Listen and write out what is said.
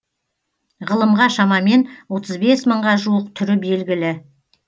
ғылымға шамамен отыз бес мыңға жуық түрі белгілі